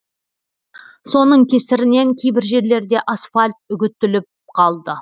соның кесірінен кейбір жерлерде асфальт үгтіліп қалды